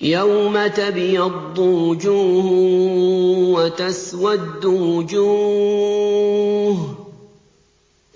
يَوْمَ تَبْيَضُّ وُجُوهٌ وَتَسْوَدُّ وُجُوهٌ ۚ